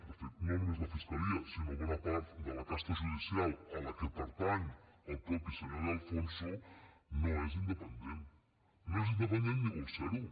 de fet no només la fiscalia sinó bona part de la casta judicial a què pertany el mateix senyor de alfonso no és independent no és independent ni vol ser ho